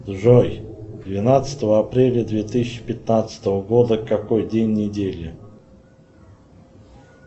джой двенадцатого апреля две тысячи пятнадцатого года какой день недели